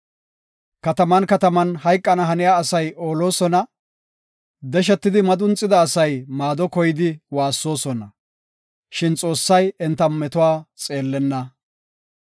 Kataman kataman hayqana haniya asay oolosona; deshetidi madunxida asay maado koyidi waassoosona; shin Xoossay enta metuwa xeellenna.